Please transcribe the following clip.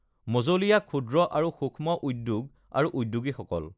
মঁজলীয়া, ক্ষুদ্ৰ আৰু সূক্ষ্ম উদ্যোগ আৰু উদ্যোগীসকল